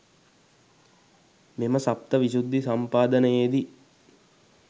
මෙම සප්ත විශුද්ධි සම්පාදනයේදී